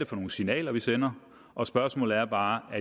for nogle signaler vi sender og spørgsmålet er bare